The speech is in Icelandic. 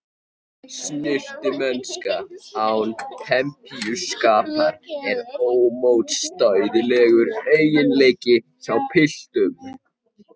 Snyrtimennska án pempíuskapar er ómótstæðilegur eiginleiki hjá piltum.